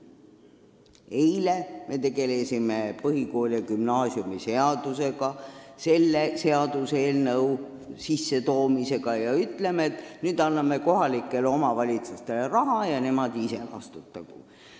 Eile me tegelesime põhikooli- ja gümnaasiumiseadusega, ütlesime, et nüüd anname kohalikele omavalitsustele raha ja nemad ise vastutagu.